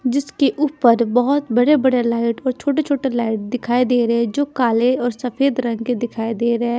जिसके ऊपर बहोत बड़े-बड़े लाइट और छोटे-छोटे लाइट दिखाई दे रहे हैं जो काले और सफेद रंग के दिखाई दे रहे हैं।